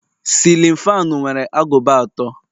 cillin fanu nwere agụba atọ